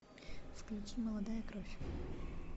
включи молодая кровь